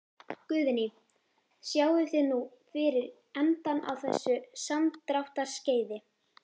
Guðný: Sjáið þið nú fyrir endann á þessu samdráttarskeiði?